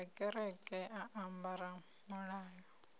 ya kereke a ambara muhoyo